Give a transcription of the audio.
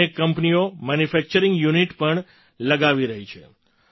અનેક કંપનીઓ manufacturing unit પણ લગાવી રહી છે